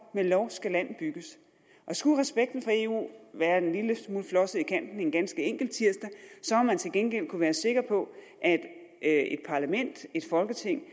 med lov skal land bygges og skulle respekten for eu være en lille smule flosset i kanten en enkelt tirsdag har man til gengæld kunnet være sikker på at parlament et folketing